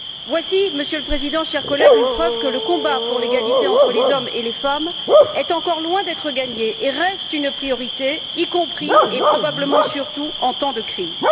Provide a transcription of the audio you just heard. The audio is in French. Voici, Monsieur le Président, chers collègues, une preuve que le combat pour l'égalité entre les hommes et les femmes est encore loin d'être gagné et reste une priorité, y compris, et probablement surtout, en temps de crise.